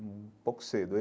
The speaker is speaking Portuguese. um pouco cedo.